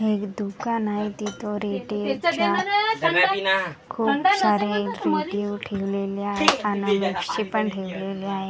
एक दुकान हाय तिथं च्या खूप सारे रेडिओ ठेवलेले नक्षी पण ठेवलेली आहे.